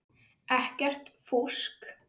Ekkert fúsk.